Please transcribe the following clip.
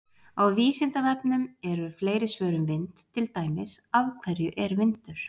Á Vísindavefnum eru fleiri svör um vind, til dæmis: Af hverju er vindur?